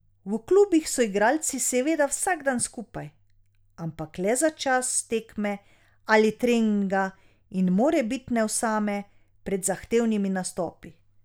V klubih so igralci seveda vsak dan skupaj, ampak le za čas tekme ali treninga in morebitne osame pred zahtevnimi nastopi.